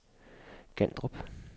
Gandrup